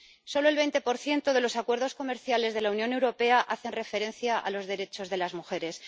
Solo el 20 de los acuerdos comerciales de la Unión Europea hacen referencia a los derechos de las mujeres.